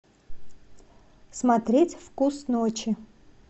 смотреть вкус ночи